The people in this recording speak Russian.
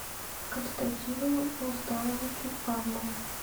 константину рустамовичу павлову